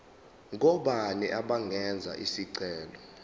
ngobani abangenza isicelo